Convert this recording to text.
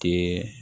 Kɛ